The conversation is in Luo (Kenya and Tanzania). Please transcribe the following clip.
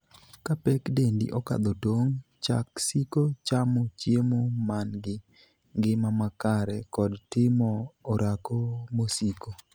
Ka pek dendi okadho tong', chak siko chamo chiemo mangi ngima makare kod timo orako mosiko.